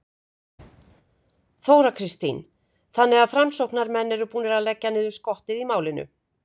Þóra Kristín: Þannig að framsóknarmenn eru búnir að leggja niður skottið í málinu?